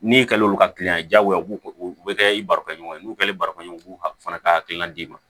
N'i kɛlen ka kiliyan jagoya u b'o u bɛ kɛ i barikɛɲɔgɔn ye n'u kɛlen barikɔn fana ka hakilina d'i ma